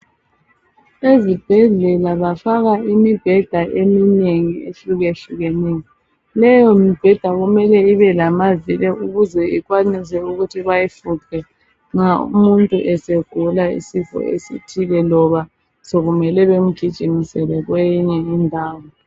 ezibhedlela bafaka imibheda eminengi ehlukehlukeneyo leyo mibheda kumele ibe lamavili ukuze ikwanise ukuthi bayifuqe nxa umuntu esegula isifo esithile loba sekumele bemgijimisele kweyinye indawo